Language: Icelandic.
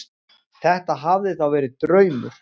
Þetta hafði þá verið draumur.